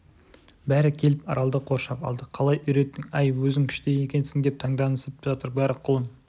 бәрі келіп аралды қоршап алды қалай үйреттің әй өзің күшті екенсің деп танданысып жатыр бәрі құлын